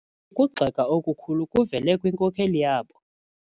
Ukugxeka okukhulu kuvele kwinkokeli yabo.